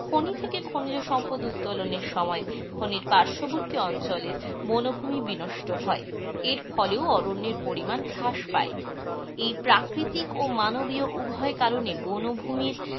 খনি থেকে খনিজ সম্পদ উত্তোলনের সময় খনির পার্শ্ববর্তী অঞ্চলে বনভুমি বিনষ্ট হয়. এর ফলেও অরণ্যের পরিমাণ হ্রাস পায়. এই প্রাকৃতিক ও মানবীয় উভয় কারণে বনভূমির,